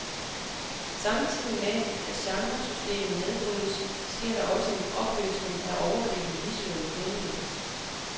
Samtidig med at genresystemet nedbrydes, sker der også en opløsning af overgribende visuelle kodninger.